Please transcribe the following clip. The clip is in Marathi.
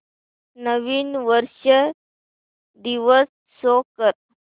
नवीन वर्ष दिवस शो कर